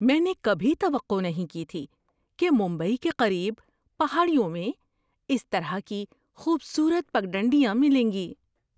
میں نے کبھی توقع نہیں کی تھی کہ ممبئی کے قریب پہاڑیوں میں اس طرح کی خوبصورت پگڈنڈیاں ملیں گی۔